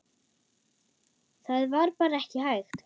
Það var bara ekki hægt.